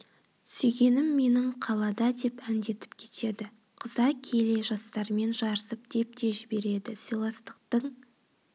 сүйгенім менің қалада деп әндетіп кетеді қыза келе жастармен жарысып деп те жібереді сыйластықтың